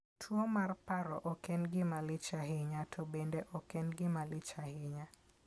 Tuwo mar paro ok en gima lich ahinya, to bende ok en gima lich ahinya.